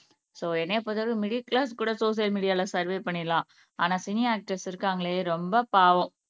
so என்னைய பொறுத்தவரைக்கும் middle க்ளாஸ்கூட சோசியல் மீடியால சர்வே பண்ணிடலாம் ஆனால் சினி ஆக்டர்ஸ் இருக்காங்களே ரொம்ப பாவம்